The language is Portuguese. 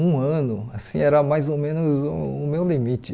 Um ano, assim era mais ou menos o meu limite.